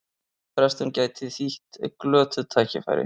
Frestun gæti þýtt glötuð tækifæri